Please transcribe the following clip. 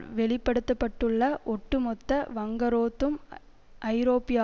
வெளிப்படுத்தப்பட்டுள்ள ஒட்டு மொத்த வங்குரோத்தும் ஐரோப்பியல்